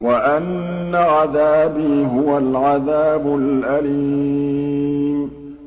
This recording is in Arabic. وَأَنَّ عَذَابِي هُوَ الْعَذَابُ الْأَلِيمُ